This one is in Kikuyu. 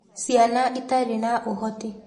Ciana Itarĩ na Ũhoti